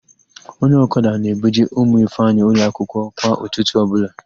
Onye ọkada na-ebuje ụmụ Ifeanyị ụlọakwụkwọ kwa ụtụtụ ọbụla.